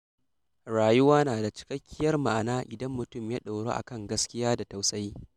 Rayuwa na da cikakkiyar ma’ana idan mutum ya ɗoru akan gaskiya da tausayi.